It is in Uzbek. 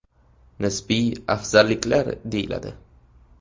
Nisbiy afzalliklar deyiladi.